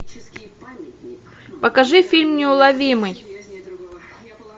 покажи фильм неуловимый